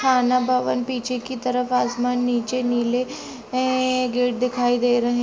थाना भवन पीछे की तरफ आसमान नीचे नीले है गेट दिखाई दे रहे--